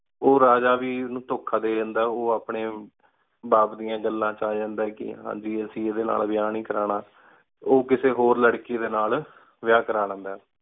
ਉਰਜਾ ਵਰ ਨੂ ਤੁਖਾ ਦੀ ਜਾਂਦਾ ਓਆਪ੍ਨ੍ਯਨ ਅਪਨ੍ਯਨ ਬਾਪ ਦਯਾਨ ਘਾਲਾਂ ਵੇਚ ਅਜਾੰਡੀ ਕੀ ਹਨ ਜੀ ਅਸੀਂ ਏਡੀ ਨਾਲ ਵਇਆ ਨੀ ਕਾਰਨਾਂ ਓਕਿਸੀ ਹੋਰ ਲਾਰ੍ਕੀ ਡੀ ਨਾਲ ਵਇਆ ਕਰਵਾ ਲੇੰਦਾ ਆਯ